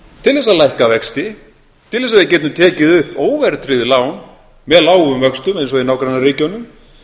til þess að lækka vexti til þess að við getum tekið upp óverðtryggð lán með lágum vöxtum eins og í nágrannaríkjunum